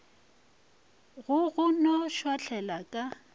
go go no šwahlela ka